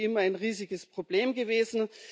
Das ist wie immer ein riesiges Problem gewesen.